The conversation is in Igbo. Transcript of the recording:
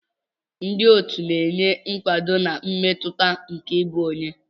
Ndị otu na-enye nkwado na mmetụta nke ịbụ onye.